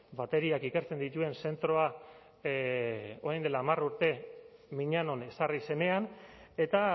bateriak ikertzen dituen zentroa orain dela hamar urte miñanon ezarri zenean eta